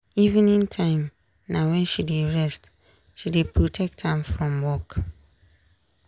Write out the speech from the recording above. evening time na wen she d rest she dey protect am from work.